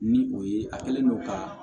Ni o ye a kɛlen no ka